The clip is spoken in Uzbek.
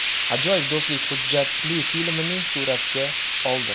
Ajoyib do‘stlik” hujjatli filmini suratga oldi.